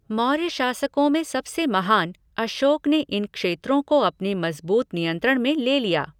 मौर्य शासकों में सबसे महान, अशोक ने इन क्षेत्र को अपने मजबूत नियंत्रण में ले लिया।